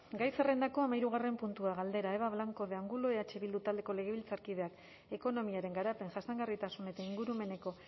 gai zerrendako hamahirugarren puntua galdera eba blanco de angulo eh bildu taldeko legebiltzarkideak ekonomiaren garapen jasangarritasun eta ingurumeneko